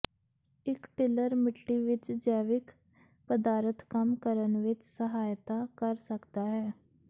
ਇੱਕ ਟਿਲਰ ਮਿੱਟੀ ਵਿੱਚ ਜੈਵਿਕ ਪਦਾਰਥ ਕੰਮ ਕਰਨ ਵਿੱਚ ਸਹਾਇਤਾ ਕਰ ਸਕਦਾ ਹੈ